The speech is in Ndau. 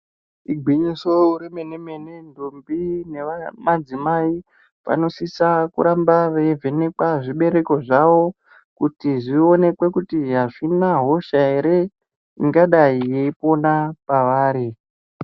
Igwinyiso remene ntombi nemadzimai vanosisa veiramba veivhenekwa zvibereko zvavo kuti zvionekwe kuti azvina hosha ere ingadai yeipona pavari.